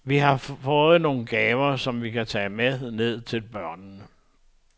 Vi har fået nogle gaver, som vi kan tage med ned til børnene.